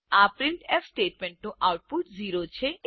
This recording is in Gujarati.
આ પ્રિન્ટફ સ્ટેટમેન્ટનું આઉટપુટ 0 છે